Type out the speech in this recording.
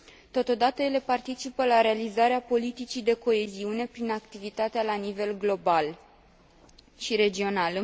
Totodată, ele participă la realizarea politicii de coeziune, prin activitatea la nivel global și regional.